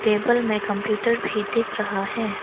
Table में computer भी दिख रहा है।